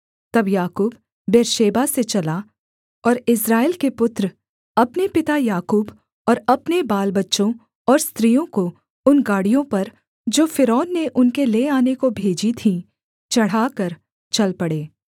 तब याकूब बेर्शेबा से चला और इस्राएल के पुत्र अपने पिता याकूब और अपने बालबच्चों और स्त्रियों को उन गाड़ियों पर जो फ़िरौन ने उनके ले आने को भेजी थीं चढ़ाकर चल पड़े